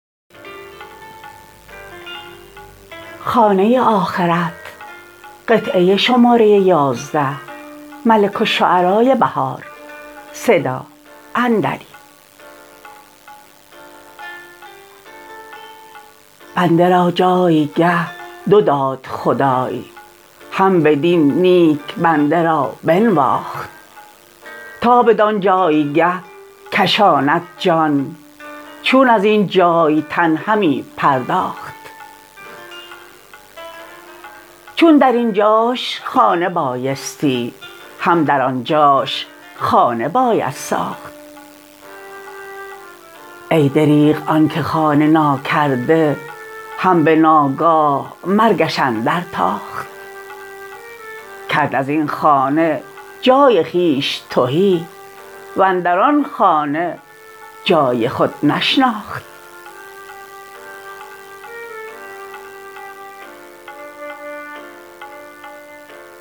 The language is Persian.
بنده را جایگه دو داد خدای هم بدین نیک بنده را بنواخت تا بدان جایگه کشاند جان چون ازین جای تن همی پرداخت چون در اینجاش خانه بایستی هم در آنجاش خانه باید ساخت ای دربغ آن که خانه ناکرده هم به ناگاه مرگش اندر تاخت کرد از این خانه جای خویش تهی وندران خانه جای خود نشناخت